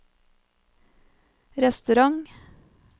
restaurant